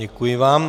Děkuji vám.